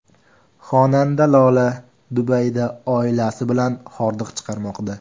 Xonanda Lola Dubayda oilasi bilan hordiq chiqarmoqda.